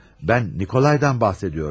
Mən Nikolaydan bahs ediyorum.